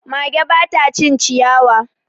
Mage ba ta cin ciyawa.